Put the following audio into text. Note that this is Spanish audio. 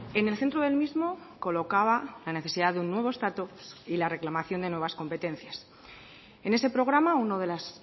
en el centro del mismo colocaba la necesidad de un nuevo estatus y la reclamación de nuevas competencias en ese programa uno de los